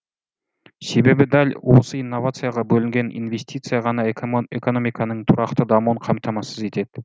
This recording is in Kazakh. себебі дәл осы инновацияға бөлінген инвестиция ғана экономиканың тұрақты дамуын қамтамасыз етеді